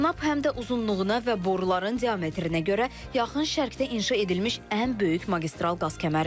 Tanap həm də uzunluğuna və boruların diametrinə görə yaxın şərqdə inşa edilmiş ən böyük magistral qaz kəməridir.